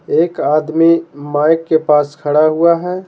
एक आदमी माइक के पास खड़ा हुआ है।